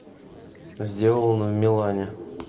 сделано в милане